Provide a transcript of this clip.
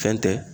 Fɛn tɛ